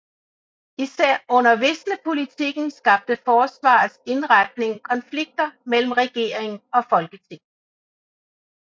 Især under visnepolitikken skabte forsvarets indretning konflikter mellem regering og folketing